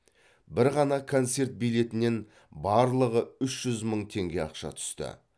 бір ғана концерт билетінен барлығы үш жүз мың теңге ақша түсті